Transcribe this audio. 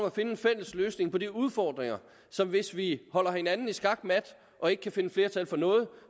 at finde en fælles løsning på de udfordringer hvis vi holder hinanden i skakmat og ikke kan finde flertal for noget